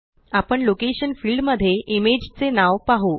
आपण location field मध्ये image चे नाव पाहु